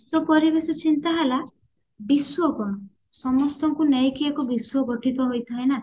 ବିଶ୍ଵ ପରିବେଶ ଚିନ୍ତା ହେଲା ବିଶ୍ଵ କଣ ସମସ୍ତଙ୍କୁ ନେଇକି ଏକ ବିଶ୍ଵ ଗଠିତ ହେଇଥାଏ ନା